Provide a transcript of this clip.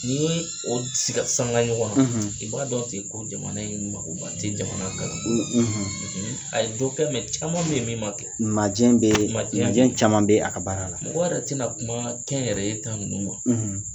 Ni ye o siga sanga ɲɔgɔn ma, i b'a dɔn ti ko jamana in magoba ti jamana ka a ye dɔ kɛ caman be yen min ma kɛ, majɛ caman bɛ a ka baara la, mɔgɔ yɛrɛ tina kuma kɛ n yɛrɛ ye ta ninnu ma